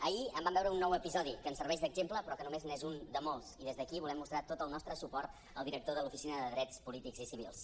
ahir en vam veure un nou episodi que ens serveix d’exemple però que només n’és un de molts i des d’aquí volem mostrar tot el nostre suport al director de l’oficina de drets polítics i civils